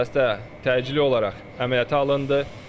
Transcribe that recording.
Xəstə təcili olaraq əməliyyata alındı.